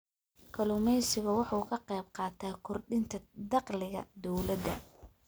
Kalluumaysigu waxa uu ka qayb qaataa kordhinta dakhliga dawladda.